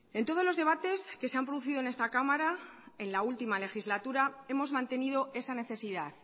en todos los debates que se han producido en esta cámara en la última legislatura hemos mantenido esa necesidad